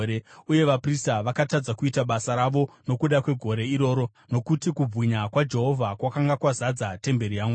uye vaprista vakatadza kuita basa ravo nokuda kwegore iroro, nokuti kubwinya kwaJehovha kwakanga kwazadza temberi yaMwari.